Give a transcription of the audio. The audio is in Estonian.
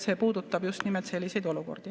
See puudutab just nimelt selliseid olukordi.